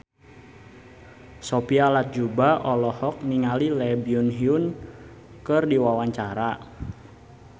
Sophia Latjuba olohok ningali Lee Byung Hun keur diwawancara